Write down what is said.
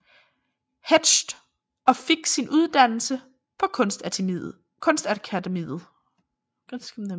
Hetsch og fik sin uddannelse på Kunstakademiet